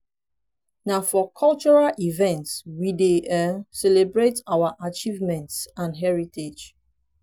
na for cultural events we dey um celebrate our achievements and heritage.